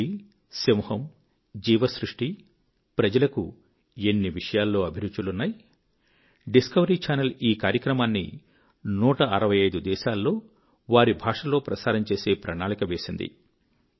పులి సింహము జీవ సృష్టి ప్రజలకు ఎన్ని విషయాల్లో అభిరుచులున్నాయి డిస్కవరీ చానల్ ఈ కార్యక్రమాన్ని 165 దేశాల్లో వారి భాషలో ప్రసారం చేసే ప్రణాళిక వేసింది